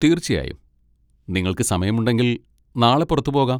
തീർച്ചയായും, നിങ്ങൾക്ക് സമയമുണ്ടെങ്കിൽ നാളെ പുറത്തുപോകാം.